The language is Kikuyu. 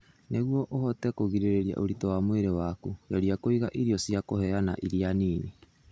Nĩguo ũhote kũgirĩrĩria ũritũ wa mwĩrĩ waku, geria kũiga irio cia kũheana iria nini.